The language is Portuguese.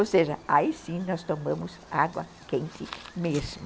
Ou seja, aí sim nós tomamos água quente mesmo.